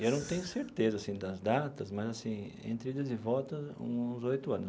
Eu não tenho certeza, assim, das datas, mas, assim, entre idas e voltas, uns oito anos.